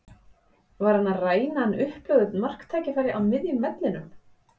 Var hann að ræna hann upplögðu marktækifæri á miðjum vellinum?